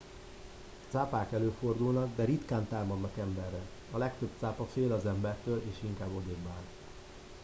cápák előfordulnak de ritkán támadnak emberre a legtöbb cápa fél az embertől és inkább odébbáll